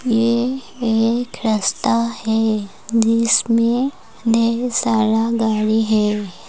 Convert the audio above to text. यह एक रास्ता है जिसमे ढेर सारा गाड़ी है।